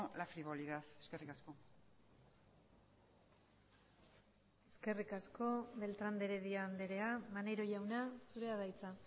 la frivolidad eskerrik asko eskerrik asko beltrán de heredia andrea maneiro jauna zurea da hitza